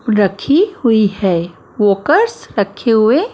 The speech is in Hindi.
रखी हुई हैं वोकस रखे हुए--